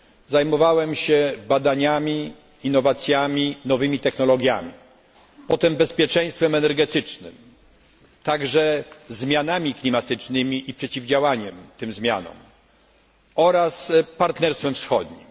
Zajmowałem się badaniami, innowacjami, nowymi technologiami, potem bezpieczeństwem energetycznym, także zmianami klimatycznymi i przeciwdziałaniem tym zmianom oraz partnerstwem wschodnim.